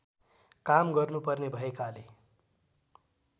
काम गर्नुपर्ने भएकाले